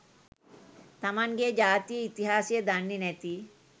තමන්ගේ ජාතියේ ඉතිහාසය දන්නේ නැති